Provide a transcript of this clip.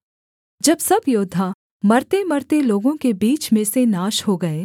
जब सब योद्धा मरतेमरते लोगों के बीच में से नाश हो गए